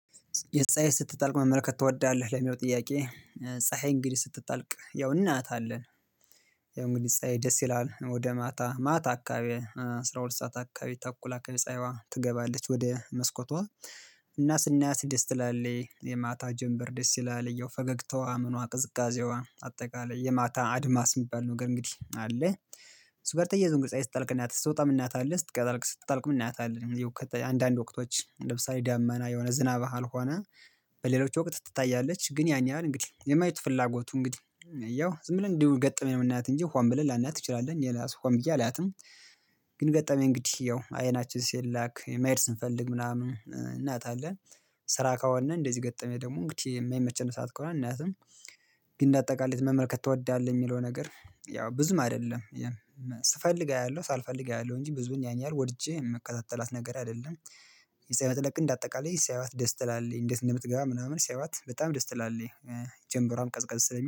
የፀሀይ ስትጠልቅ መመለከት ትወዳለህ ለሚለው ጥያቄ? ፀሀይ እንግዲህ ስትጠልቅ ያው እናያታለን። ያው እንግዲህ ፀሀይ ደስ ይላል ወደ ማታ ማታ አካባቢ አስራ ሁለት ሰዓት አካባቢ ተኩል አካባቢ ፀሀይዋ ትገባለች ወደ መስኮቷ። እና ስናያት ደስ ትላለች የማታ ጀምበር ደስ ይላል ያው ፈገግታዋ ምኗ ቅዝቃዜዋ አጠቃላይ የማታ አድማስ የሚባል ነገር እንግዲህ አለ እሱ ጋር ተየይዞ እንግዲ ፀሀይ ስጠልቅ እናያታለን ስትወጣ እናያታለን ስትገባ ልክ ስትጠልቅም እናያታለን። አንዳንድ ወቅቶች ለምሳሌ ደመና የሆነ ዝናብ ካልሆነ በሌሎች ወቅት ትታያለች ግን ያን ያህል እንግዲህ የማየት ፍላጎቱ እንግዲህ ያው ዝም ብለን እንዲሁ ገጥመን ነው የምናያት እንጂ ሆን ብለን ላናያት እንችላለን እኔ ለራሱ ሆን ብየ አላያትም። ግን ገጠመኝ እንግዲህ ያው አይናችን ሲላክ መሄድ ስንፈልግ ምናምን እናያታለን። ስራ ከሆነ እንደዚህ ገጠመኝ ደግሞ እንግዲህ የማይመቸነ ሰዓት ከሆነ አናያትም። ግን እንደ አጠቃላይ መመልከት ትወዳለህ የሚለው ነገር ያው ብዙም አይደለም። ስፈልግ አያለሁ ሳልፈልግ አያለሁ እንጂ ብዙን ያን ያህል ወድጄ የምከታተላት ነገር አይደለም። የፀሀይ መጥለቅ እንደ አጠቃላይ ሲያዪት ደስ ትላለች እንዴት እንደምትገባ ምናምን ሲያዩት በጣም ደስ ትላለች። ጀንበሯም ቀዝቀዝ ስለሚል